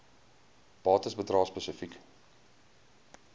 bates bedrae spesifiek